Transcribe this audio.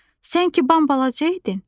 Sən ki bambalaca idin.